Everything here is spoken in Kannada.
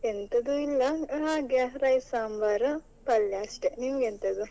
ಎಂತದು ಇಲ್ಲ ಹಾಗೆ rice sambar ಪಲ್ಯ ಅಷ್ಟೇ, ನಿಮಗೆಂತದ್ದು?